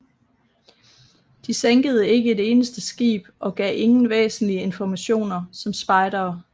De sænkede ikke et eneste skib og gav ingen væsentlige informationer som spejdere